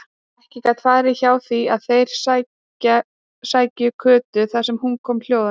Ekki gat farið hjá því að þeir sæju Kötu þar sem hún kom hljóðandi.